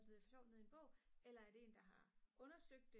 det for sjovt ned i en bog eller er det en der har undersøgt det